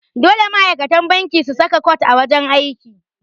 Dole ma'aikata banki su kasa cot a wajan aiki.